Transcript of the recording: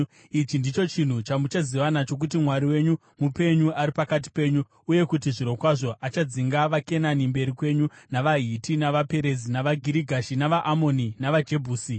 Ichi ndicho chinhu chamuchaziva nacho kuti Mwari wenyu mupenyu ari pakati penyu uye kuti zvirokwazvo achadzinga vaKenani mberi kwenyu, navaHiti, navaPerizi, navaGirigashi, navaAmoni navaJebhusi.